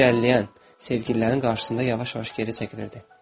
O, irəliləyən sevgililərin qarşısında yavaş-yavaş geri çəkilirdi.